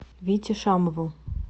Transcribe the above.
вите шамову